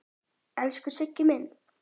Elsku Siggi minn.